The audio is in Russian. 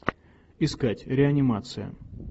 искать реанимация